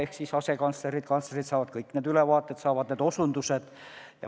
Ka asekantslerid ja kantslerid saavad kõik need ülevaated, saavad kõik need osutused.